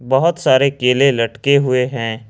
बहुत सारे केले लटके हुए हैं।